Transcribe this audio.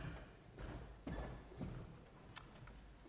er